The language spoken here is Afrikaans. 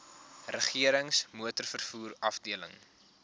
regerings motorvervoer afdeling